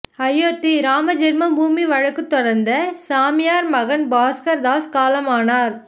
அயோத்தி ராமஜென்மபூமி வழக்கு தொடர்ந்த சாமியார் மகந்த் பாஸ்கர் தாஸ் காலமானார்